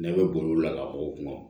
Ne bɛ boli la ka bɔ kuma